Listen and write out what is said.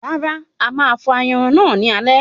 Rárá, ama fọ̀ ayanran náà ní alẹ́